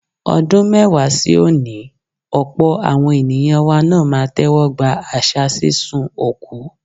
Ọdún mẹ́wàá sí òní, ọ̀pọ̀ àwọn ènìyàn wa náà á tẹ́wọ́gba àṣà sísun òkú.